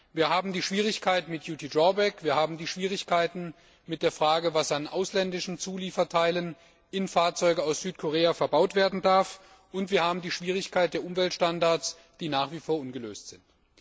Wir haben die Schwierigkeiten mit duty drawback wir haben die Schwierigkeiten mit der Frage, was an ausländischen Zulieferteilen in Fahrzeugen aus Südkorea verbaut werden darf, und wir haben die Schwierigkeiten der Umweltstandards, die nach wie vor ungelöst sind.